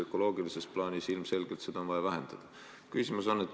Ökoloogilises plaanis on ilmselgelt vaja seda aga vähendada.